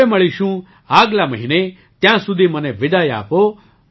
હવે મળીશું આગલા મહિને ત્યાં સુધી મને વિદાય આપો